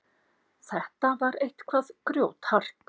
Þetta var eitthvað grjóthart.